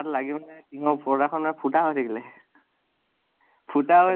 তাত লাগি পিনে টিনৰ উপৰত এখন ফুতা হৈ থাকিলে , ফুতা হৈ